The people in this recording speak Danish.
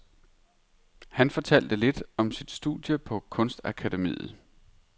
Han fortalte lidt om sit studie på kunstakademiet.